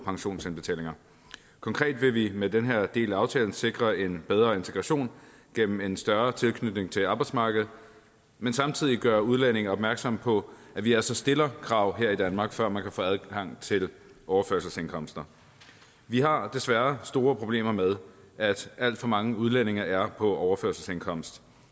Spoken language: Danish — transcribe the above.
pensionsindbetalinger konkret vil vi med den her del af aftalen sikre en bedre integration gennem en større tilknytning til arbejdsmarkedet men samtidig gøre udlændinge opmærksom på at vi altså stiller krav her i danmark før man kan få adgang til overførselsindkomster vi har desværre store problemer med at alt for mange udlændinge er på overførselsindkomst